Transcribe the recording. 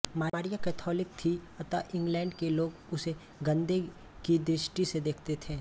Maria Catholic थी अत England के लोग उसे सन्देह की दृष्टि से देखते थे